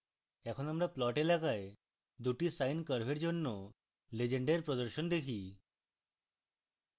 এখন আমরা plot এলাকায় দুটি sine curves জন্য legend এর প্রদর্শন দেখি